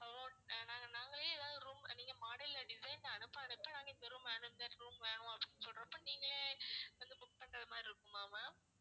நாங்க நாங்களே எதாவது room நீங்க model இல்ல design அனுப்ப அனுப்ப நாங்க இந்த room வேணும் இந்த room வேணும் அப்படின்னு சொல்றப்ப நீங்களே வந்து book பண்ற மாதிரி இருக்குமா ma'am